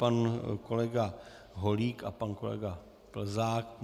Pan kolega Holík a pan kolega Plzák.